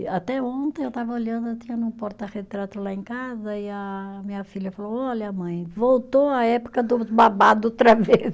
E até ontem eu estava olhando, eu tinha num porta-retrato lá em casa e a minha filha falou, olha mãe, voltou a época do babado outra vez.